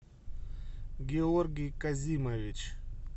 георгий казимович